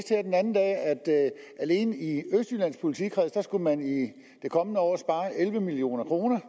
alene i østjyllands politikreds skulle man det kommende år spare elleve million kroner